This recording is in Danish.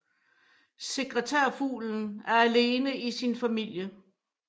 Sekretærfuglen er alene i sin familie